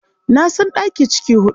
Na san ɗaki ciki huɗu.